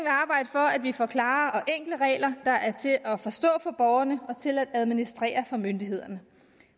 for at vi får klare og enkle regler der er til at forstå for borgerne og til at administrere for myndighederne